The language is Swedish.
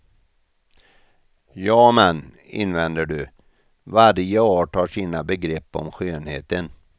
Jamen, invänder du, varje art har sina begrepp om skönheten.